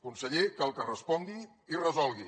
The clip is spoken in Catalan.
conseller cal que respongui i resolgui